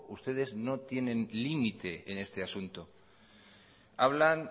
ustedes no tienen límite en este asunto hablan